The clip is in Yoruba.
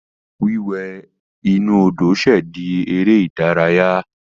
Wíwẹ̀ inú Odò ṣẹ̀ di eré ìdárayá.